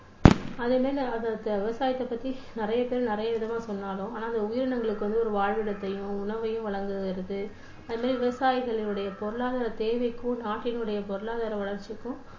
அது ஆஹ் விவசாயத்தை பத்தி நிறைய பேர் நிறைய விதமா சொன்னாலும் ஆனா அது உயிரினங்களுக்கு வந்து ஒரு வாழ்விடத்தையும் உணவையும் வழங்குகிறது. அதே மாதிரி விவசாயிகளுடைய பொருளாதார தேவைக்கும் நாட்டினுடைய பொருளாதார வளர்ச்சிக்கும்